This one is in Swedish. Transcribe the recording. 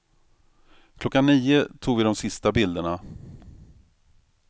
Klockan nio tog vi de sista bilderna.